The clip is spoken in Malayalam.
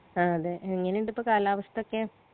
ആ അതെ എങ്ങനിണ്ട്പോ കാലാവസ്ഥോക്കെ